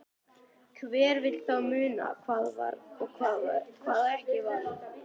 Hver vill þá muna hvað var og hvað ekki var.